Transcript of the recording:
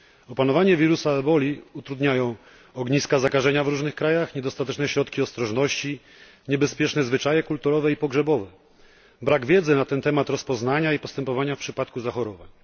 Opanowanie wirusa eboli utrudniają ogniska zakażenia w różnych krajach, niedostateczne środki ostrożności, niebezpieczne zwyczaje kulturowe i pogrzebowe, brak wiedzy na ten temat, rozpoznania i postępowania w przypadku zachorowań.